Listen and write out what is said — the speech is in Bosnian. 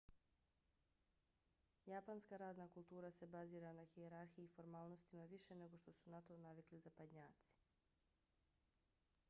japanska radna kultura se bazira na hijerarhiji i formalnostima više nego što su na to navikli zapadnjaci